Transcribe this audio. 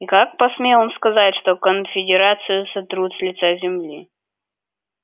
и как посмел он сказать что конфедерацию сотрут с лица земли